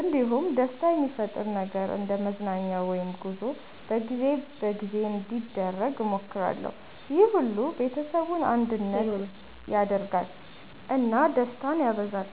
እንዲሁም ደስታ የሚፈጥር ነገር እንደ መዝናኛ ወይም ጉዞ በጊዜ በጊዜ እንዲደረግ እሞክራለሁ። ይህ ሁሉ ቤተሰቡን አንድነት ያደርጋል እና ደስታን ያበዛል።